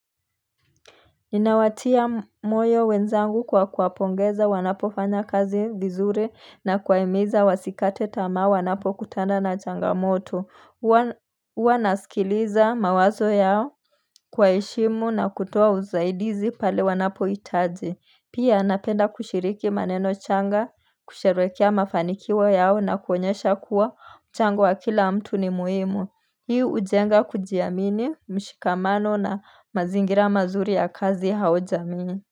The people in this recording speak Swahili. Ninawatia moyo wenzangu kwa kuwapongeza wanapo fanya kazi vizuri na kuwaimiza wasikate tamaa wanapo kutana na changamoto Uwa nasikiliza mawazo yao kuwahemu na kutoa uzaidizi pale wanapo itaji Pia napenda kushiriki maneno changa kusherekea mafanikio yao na kuonyesha kuwa mchango wa kila mtu ni muhimu hii ujenga kujiamini mshikamano na mazingira mazuri ya kazi au jamii.